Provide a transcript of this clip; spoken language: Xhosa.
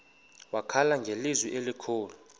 wakhala ngelizwi elikhulu